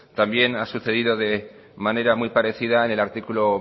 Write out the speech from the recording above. también ha sucedido de manera muy parecida en el artículo